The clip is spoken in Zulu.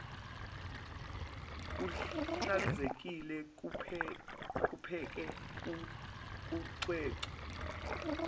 kuhlanzekile kupheke kucwecwe